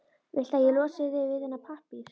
Viltu að ég losi þig við þennan pappír?